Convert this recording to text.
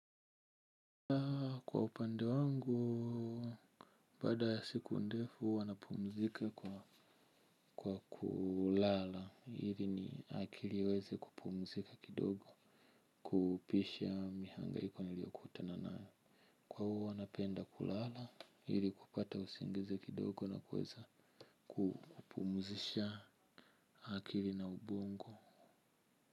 Kwa upande wangu, baada ya siku ndefu huwa napumzika kwa kulala, ili akili iweze kupumzika kidogo, kupisha mihangaiko niliokutana nayo. Kwa huwa napenda kulala, ili kupata usingizi kidogo na kuweza kupumzisha akili na ubongo.